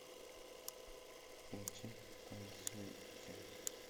включи танцуйте